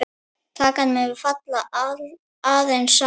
Kakan mun falla aðeins saman.